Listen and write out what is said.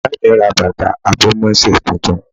Ìyá mi ra bàtà àbòmésè titun